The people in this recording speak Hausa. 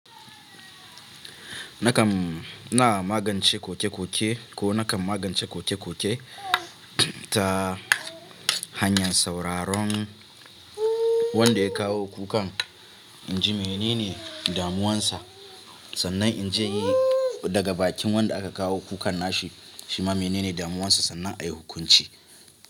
Nakam na magance koke-koke ko nakam magance koke-koke ta hanyar sauraron wanda ya kawo kukan, in ji menene damuwansa. Sannan in ji daga bakin wanda aka kawo kukan nashi, shi ma menene damuwansa sannan a yi hukunci.